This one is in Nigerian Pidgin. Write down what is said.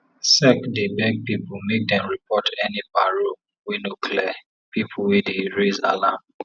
sec dey beg pipu make dem report any paro wey no clear pipo wey dey raise alarm